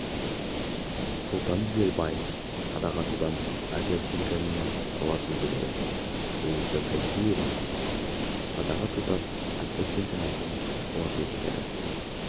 сұлтан дүзелбаев садақ атудан азия чемпионатының қола жүлдегері луиза сайдиева садақ атудан азия чемпионатының қола жүлдегері